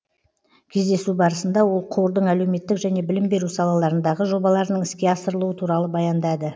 кездесу барысында ол қордың әлеуметтік және білім беру салаларындағы жобаларының іске асырылуы туралы баяндады